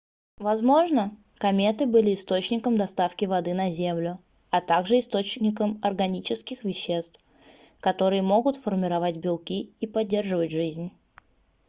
возможно кометы были источником доставки воды на землю а также источником органических веществ которые могут формировать белки и поддерживать жизнь